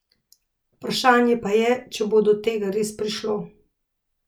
Vprašanje pa je, če bo do tega res prišlo.